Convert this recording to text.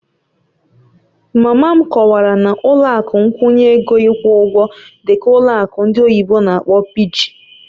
Mama m kọwara na ụlọ akụ nkwụnye ego ịkwụ ụgwọ dị ka ụlọ akụ ndị oyibo n'akpọ "piggy"